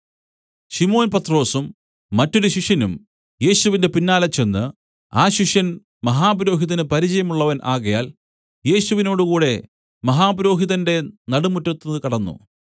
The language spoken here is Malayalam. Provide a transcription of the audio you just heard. ശിമോൻ പത്രൊസും മറ്റൊരു ശിഷ്യനും യേശുവിന്റെ പിന്നാലെ ചെന്ന് ആ ശിഷ്യൻ മഹാപുരോഹിതന് പരിചയമുള്ളവൻ ആകയാൽ യേശുവിനോടുകൂടെ മഹാപുരോഹിതന്റെ നടുമുറ്റത്ത് കടന്നു